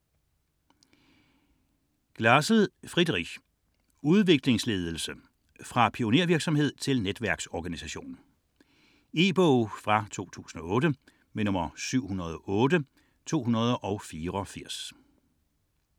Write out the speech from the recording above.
60.1 Glasl, Friedrich: Udviklingsledelse: fra pionervirksomhed til netværksorganisation E-bog 708284 2008.